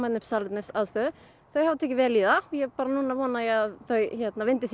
upp salernisaðstöðu þau hafa tekið vel í það og núna vona ég að þau vindi sér